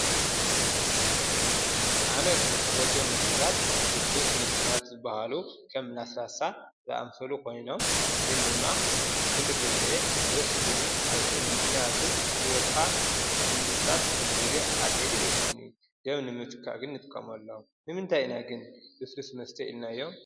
ኣነ ዝፍትዎም መስተታት ልስሉስ መስተታት ዝባሃሉ ከም ለስላሳ ዝኣምሰሉ ኾይኖም ግን ድማ ኩሉ ግዜ ደስ ክብሉ ኣይኽእሉይ። ምክንያቱ ሂወትኻ ንምድሳት ኩሉ ግዜ ኣድለይቲ ኣይኾኑን ።ገቢ ንምትካእ ግን ንጥቀመሎም። ንምንታይ ኢና ግን ልሱልስ መስተ ኢልናዮ?